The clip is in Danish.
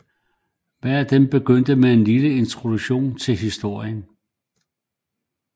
Hver af dem begyndte med en lille introduktion til historien